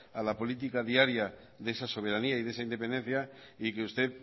a la política diaria de esa soberanía y de esa independencia y que usted